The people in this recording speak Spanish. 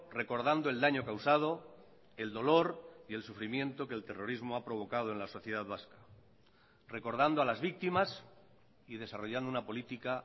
recordando el daño causado el dolor y el sufrimiento que el terrorismo ha provocado en la sociedad vasca recordando a las víctimas y desarrollando una política